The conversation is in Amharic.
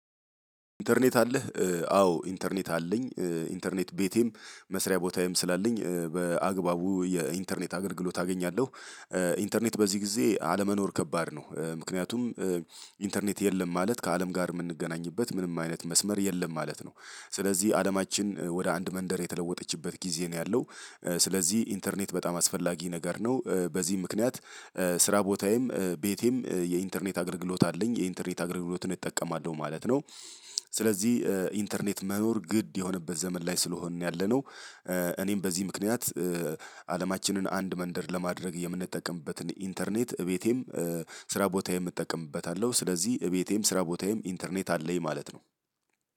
ኢንተርኔት አለህ አዎ ኢንተርኔት አለኝ። ኢንተርኔት ቤቴም መስሪያ ቦታዬም ስላለኝ በአግባቡ የኢንተርኔት አገልግሎት አገኛለሁ። ኢንተርኔት በዚህ ጊዜ አለመኖር ከባድ ነው። ምክንያቱም ኢንተርኔት የለም ማለት ከአለም ጋር የምንገናኝበት ምንም አይነት መስመር የለም ማለት ነው። ስለዚህ አለማችን ወደ አንድ መንደር የተለወጠችበት ጊዜ ነው ያለው። ስለዚህ ኢንተርኔት በጣም አስፈላጊ ነገር ነው። በዚህ ምክንያት ስራ ቦታዬም ቤቴም የኢንተርኔት አገልግሎት አለኝ የኢንተርኔት አገልግሎትን እጠቀማለሁ ማለት ነው። ስለዚህ ኢንተርኔት መኖር ግድ የሆነበት ዘመን ላይ ስለሆንን ያለነው። እኔም በዚህ ምክንያት አለማችንን አንድ መንደር ለማድረግ የምንጠቀምበትን ኢንተርኔት እቤቴም ስራ ቦታዬም እጠቀምበታለሁ። ስለዚህ እቤቴም ስራ ቦታዬም ኢንተርኔት አለኝ ማለት ነው።